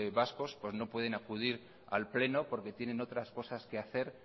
vascos no pueden acudir al pleno porque tienen otras cosas que hacer